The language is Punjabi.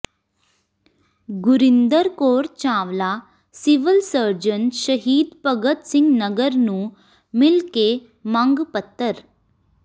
ਗੁਰਿੰਦਰ ਕੌਰ ਚਾਵਲਾ ਸਿਵਲ ਸਰਜਨ ਸ਼ਹੀਦ ਭਗਤ ਸਿੰਘ ਨਗਰ ਨੂੰ ਮਿਲ ਕੇ ਮੰਗ ਪੱਤਰ